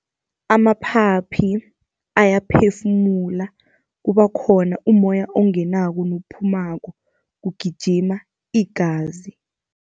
Amaphaphi ayaphefumula, kuba khona umoya ongenako nophumako, kugijima igazi.